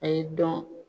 A y'i dɔn